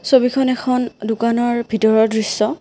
ছবিখন এখন দোকানৰ ভিতৰৰ দৃশ্য।